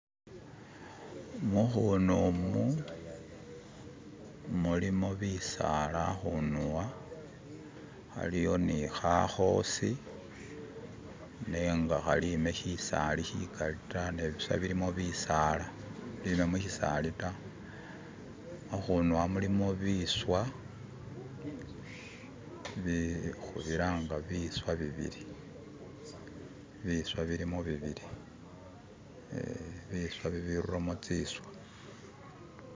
Mukhunu mu mulimo bitsaala khakhuduwa khaliwo ni khakhosi neng khalime shitsali shikhali ta nebusa bilimo bitsaala bibamushisali ta khakhuduwa mulimo biswa bii khubilanga bwiswa bibili bwiswa bilimo bibili eeh biswa bibirulamo tsiswa.